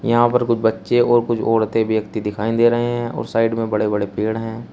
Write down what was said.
यहां पर कुछ बच्चे और कुछ औरतें व्यक्ति दिखाई दे रहे हैं और साइड में बड़े बड़े पेड़ हैं।